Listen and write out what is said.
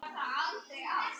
Ég fann svo til.